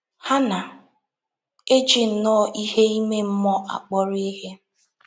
Ha na - eji nnọọ ihe ime mmụọ akpọrọ ihe.